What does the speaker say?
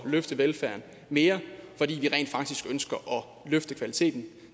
løfte velfærden mere fordi vi rent faktisk ønsker at løfte kvaliteten